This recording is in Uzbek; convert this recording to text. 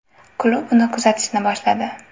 Klub uni kuzatishni boshladi.